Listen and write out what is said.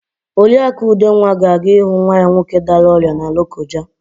Oriakụ Udenwa ga-aga ịhụ nwa ya nwoke dara ọrịa na Lokoja.